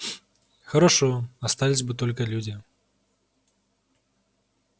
хорошо остались бы только люди